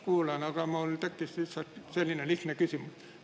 Kuulasin ja mul tekkis lihtsalt selline lihtne küsimus.